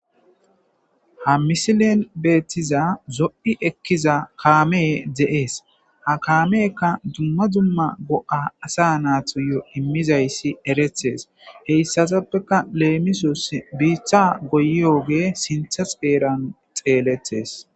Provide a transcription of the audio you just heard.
Ha misilen bettiza zo'i ekkiza kamey de'es ha kaameyka dumma dumma go'a asatuyo immizaysa eretes hatsatappeka lemisos bitta goyiyogey sinthasora xeletes